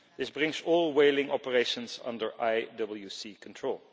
This brings all whaling operations under IWC control.